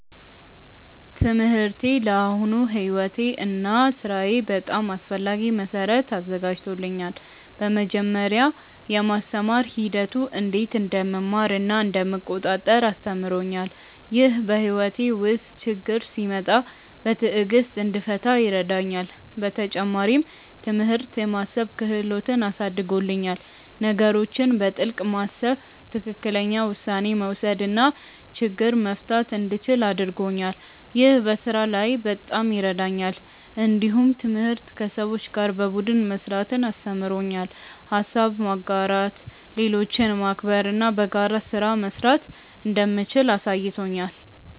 ትምህርቴ ለአሁኑ ሕይወቴ እና ሥራዬ በጣም አስፈላጊ መሠረት አዘጋጅቶኛል። በመጀመሪያ፣ የማስተማር ሂደቱ እንዴት እንደምማር እና እንደምቆጣጠር አስተምሮኛል። ይህ በሕይወቴ ውስጥ ችግኝ ሲመጣ በትዕግሥት እንድፈታ ይረዳኛል። በተጨማሪም፣ ትምህርት የማሰብ ክህሎትን አሳድጎልኛል። ነገሮችን በጥልቅ ማሰብ፣ ትክክለኛ ውሳኔ መውሰድ እና ችግኝ መፍታት እንደምችል አድርጎኛል። ይህ በስራ ላይ በጣም ይረዳኛል። እንዲሁም ትምህርት ከሰዎች ጋር በቡድን መስራትን አስተምሮኛል። ሀሳብ ማጋራት፣ ሌሎችን ማክበር እና በጋራ ስራ መስራት እንደምችል አሳይቶኛል።